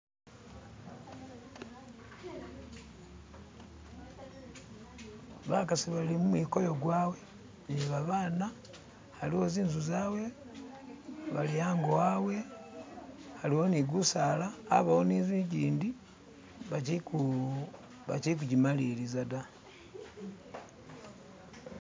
bakasi bali mumwikoyo gwabe ni babaana aliwo zinzu zabwe bali ango abwe aliwo gusaala abawo ni inzu igindi bakyikujimaliliza da.